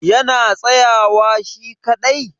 yana tsayawa shi kaɗai?